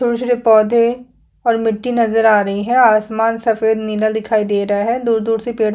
छोटे -छोटे पौधे और मिटी नजर आ रही है आसमान सफ़ेद नीला दिखाई दे रहा है दूर -दूर से पेड़। --